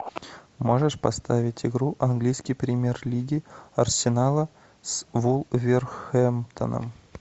можешь поставить игру английской премьер лиги арсенала с вулверхэмптоном